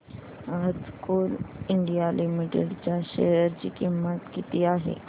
आज coal India limited च्या share ची किंमत किती आहे